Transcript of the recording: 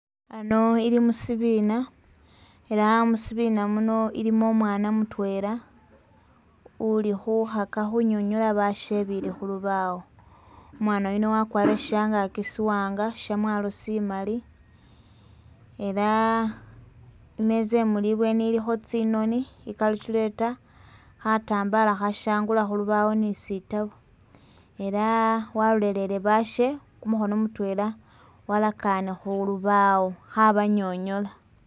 Ano ili musibina elah musibina muno ilimo umwana mutwela uli khukhaka khunyonyola bashe bili khulubawo umwana yuno wakwarile shangaki siwanga shamwalo simaali elah imeza imuli ibweni ilikho tsimoni, i'calculator, khatambala khashangula khulubawo ni sitabu elah walolelele bashe kumukhono mutwela walakane khulubawo khabanyonyola